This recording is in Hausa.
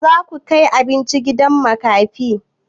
Yaushe zaku kai abinci gidan makafi?